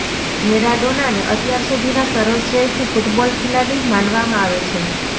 મેરાડોનાને અત્યાર સુધીના સર્વશ્રેષ્ઠ ફૂટબોલ ખેલાડી માનવામાં આવે છે